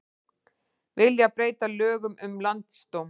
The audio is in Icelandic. Vilja breyta lögum um landsdóm